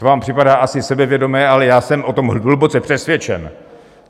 To vám připadá asi sebevědomé, ale já jsem o tom hluboce přesvědčen.